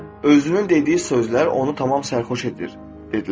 Və özünün dediyi sözlər onu tamam sərxoş edir dedilər.